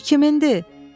Bu kimindir?